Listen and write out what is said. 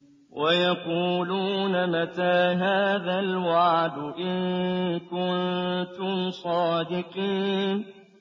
وَيَقُولُونَ مَتَىٰ هَٰذَا الْوَعْدُ إِن كُنتُمْ صَادِقِينَ